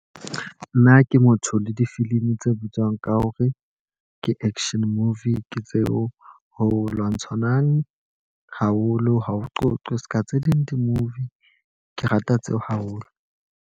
Nna ke motho le difilimi tse bitswang ka hore ke action movie. Ke tseo ho lwantshanang, haholo ha o qoqe. Seka tse ding di-movie ke rata tseo haholo.